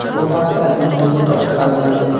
Bu haqida internet orqali bildim.